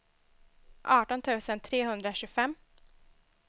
arton tusen trehundratjugofem